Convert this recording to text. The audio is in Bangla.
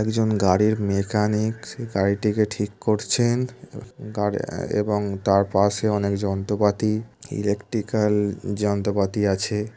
একজন গাড়ির মেকানিক সে গাড়িটিকে ঠিক করছেন । এবং গাড়ি আ এবং তার পাশে অনেক যন্ত্রপাতি ইলেকট্রিক্যাল যন্ত্রপাতি আছে।